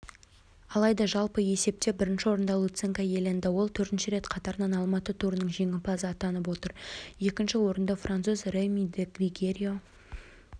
алайда жалпы есепте бірінші орынды луценко иеленді ол төртінші рет қатарынан алматы турының жеңімпазы атанып отыр екінші орындафранцуз реми ди грегорио